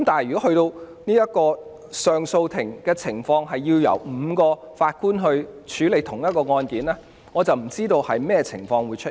不過，上訴法庭由5名法官審理同一宗案件，我不知道會在甚麼情況下出現。